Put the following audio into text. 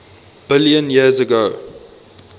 billion years ago